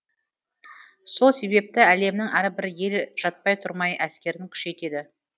сол себепті әлемнің әрбір елі жатпай тұрмай әскерін күшейтеді